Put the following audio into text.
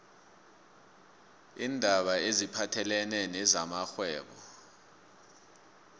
iindaba eziphathelene namrhwebo